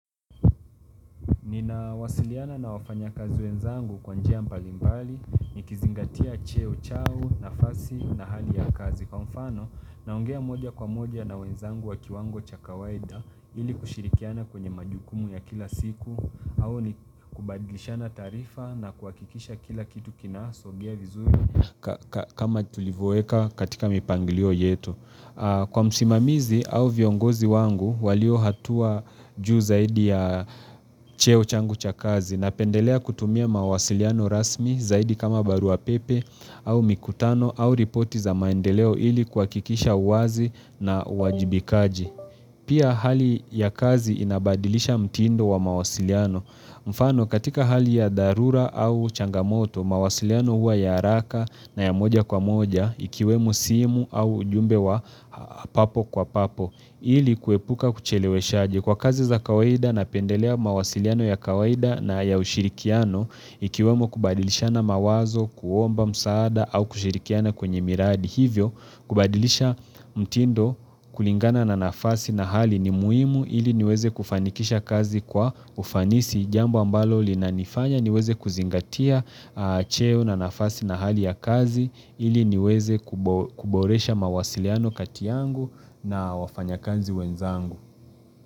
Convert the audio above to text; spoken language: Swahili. Nina wasiliana na wafanya kazi wenzangu kwa njia mbalimbali, nikizingatia cheo chao, nafasi, na hali ya kazi. Kwa mfano, naongea moja kwa moja na wenzangu wa kiwango chakawaida, ili kushirikiana kwenye majukumu ya kila siku, au ni kubadlishana taarifa na kuhakikisha kila kitu kinasogea vizuri kama tulivuweka katika mipangilio yetu. Kwa msimamizi au viongozi wangu walio hatua juu zaidi ya cheo changu cha kazi na pendelea kutumia mawasiliano rasmi zaidi kama barua pepe au mikutano au ripoti za maendeleo ili kwa kuhakikisha uwazi na wajibikaji. Pia hali ya kazi inabadilisha mtindo wa mawasiliano. Mfano katika hali ya dharura au changamoto, mawasiliano hua ya haraka na ya moja kwa moja ikiwemo simu au jumbe wa papo kwa papo. Ili kuepuka kucheleweshaji kwa kazi za kawaida na pendelea mawasiliano ya kawaida na ya ushirikiano ikiwemo kubadilishana mawazo, kuomba, msaada au kushirikiana kwenye miradi. Hivyo, kubadilisha mtindo kulingana na nafasi na hali ni muhimu ili niweze kufanikisha kazi kwa ufanisi jambo ambalo linanifanya niweze kuzingatia cheo na nafasi na hali ya kazi ili niweze kuboresha mawasiliano katiyangu na wafanya kazi wenzangu.